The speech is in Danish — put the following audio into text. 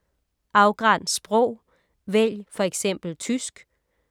Afgræns sprog: vælg f.eks. tysk